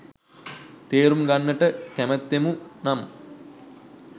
තේරුම් ගන්නට කැමැත්තෙමු නම්,